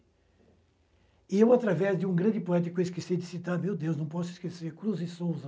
E eu, através de um grande poeta que eu esqueci de citar, meu Deus, não posso esquecer, Cruz e Souza.